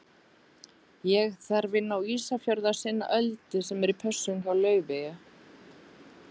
Ég þarf inn á Ísafjörð að sinna Öldu sem er í pössun hjá Laufeyju.